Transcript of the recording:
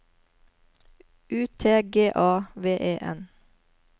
U T G A V E N